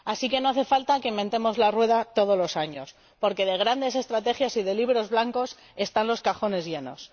Así que no hace falta que inventemos la rueda todos los años, porque de grandes estrategias y de Libros Blancos están los cajones llenos.